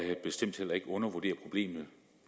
jeg bestemt heller ikke undervurderer problemet